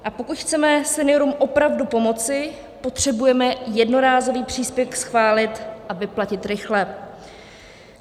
A pokud chceme seniorům opravdu pomoci, potřebujeme jednorázový příspěvek schválit a vyplatit rychle.